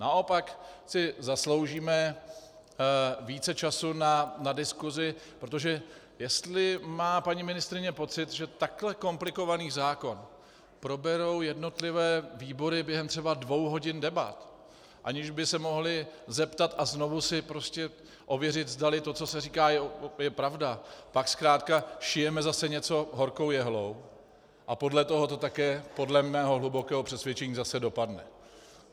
Naopak si zasloužíme více času na diskusi, protože jestli má paní ministryně pocit, že takhle komplikovaný zákon proberou jednotlivé výbory během třeba dvou hodin debat, aniž by se mohly zeptat a znovu si prostě ověřit, zdali to, co se říká, je pravda, pak zkrátka šijeme zase něco horkou jehlou a podle toho to také podle mého hlubokého přesvědčení zase dopadne.